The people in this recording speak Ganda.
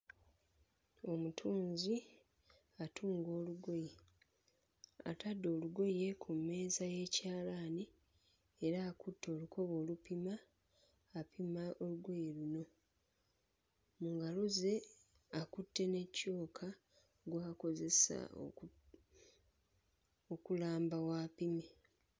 Omutunzi atunga olugoye, atadde olugoye ku mmeeza y'ekyalaani era akutte olukoba olupima, apima olugoye luno. Mu ngalo ze akutte ne kyoka gw'akozesa oku okulamba w'apimye.